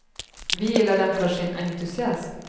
Vi gillar den för sin entusiasm.